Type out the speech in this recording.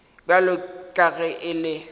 bjalo ka ge e le